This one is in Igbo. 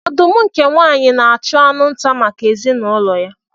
Ọdụm nke nwaanyị na-achụ anụ nta maka ezinụlọ ya.